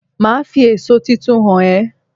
Màá fi èso tuntun hàn é